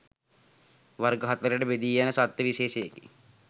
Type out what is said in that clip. වර්ග හතරකට බෙදීයන සත්ව විශේෂයකි.